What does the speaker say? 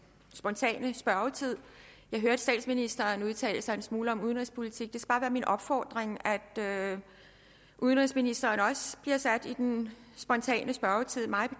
spontane spørgetid jeg hørte statsministeren udtale sig en smule om udenrigspolitik og min opfordring at udenrigsministeren også bliver sat på i den spontane spørgetid mig